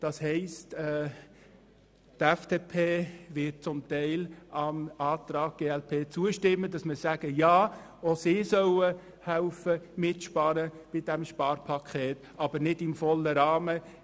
Die FDP wird zum Teil dem Antrag glp zustimmen, indem wir sagen, dass auch die Psychiatriebetriebe bei diesem Sparpaket mithelfen sollen.